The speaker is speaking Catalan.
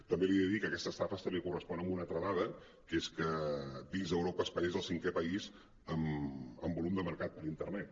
també li he de dir que aquesta estafa també correspon a una altra dada que és que dins d’europa espanya és el cinquè país en volum de mercat per internet